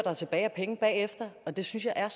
er tilbage af penge bagefter det synes jeg er